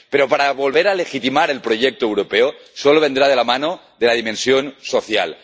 Pero volver a legitimar el proyecto europeo solo vendrá de la mano de la dimensión social.